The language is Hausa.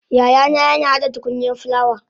yayana yina hada tukunyan fulawa